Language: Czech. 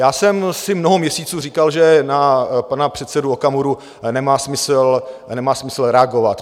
Já jsem si mnoho měsíců říkal, že na pana předsedu Okamuru nemá smysl reagovat.